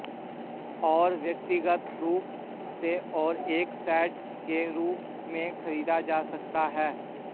और व्यक्तिगत रूप से और एक सेट के रूप में खरीदा जा सकता है